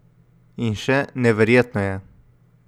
In še: 'Neverjetno je.